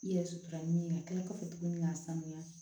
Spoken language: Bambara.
I yɛrɛ sutura min ye ka kila k'a fɔ tuguni k'a sanuya